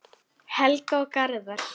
Helga og Garðar.